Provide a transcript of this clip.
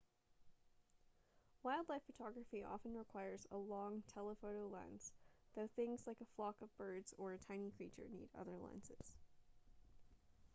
wildlife photography often requires a long telephoto lens though things like a flock of birds or a tiny creature need other lenses